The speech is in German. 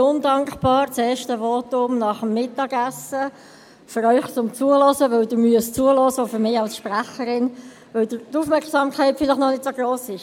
Das erste Votum nach dem Mittagessen ist für alle undankbar – für Sie, weil Sie zuhören müssen, und für mich als Sprecherin, weil die Aufmerksamkeit vielleicht noch nicht so gross ist.